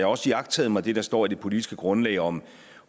også iagttaget mig det der står i det politiske grundlag om